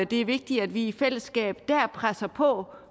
det er vigtigt at vi i fællesskab der presser på